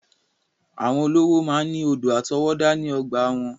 Àwọn olówó máa ń ní odò àtọwọ́dá ní ọgbàa wọn.